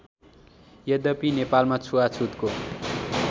यद्यपि नेपालमा छुवाछुतको